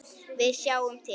Við sjáum til.